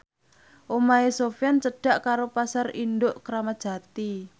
omahe Sofyan cedhak karo Pasar Induk Kramat Jati